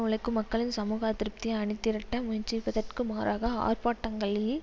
உழைக்கும் மக்கள் சமூக அதிருப்தியை அணிதிரட்ட முயற்சிப்பதற்கு மாறாக ஆர்ப்பாட்டங்களில்